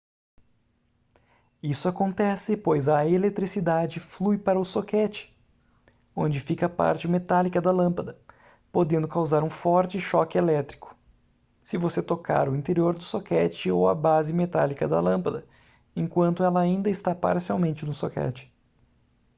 isso acontece pois a eletricidade flui para o soquete onde fica a parte metálica da lâmpada podendo causar um forte choque elétrico se você tocar o interior do soquete ou a base metálica da lâmpada enquanto ela ainda está parcialmente no soquete